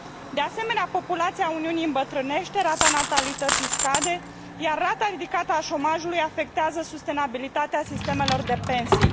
De asemenea, populația Uniunii îmbătrânește, rata natalității scade, iar rata ridicată a șomajului afectează sustenabilitatea sistemelor de pensii.